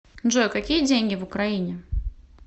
джой какие деньги в украине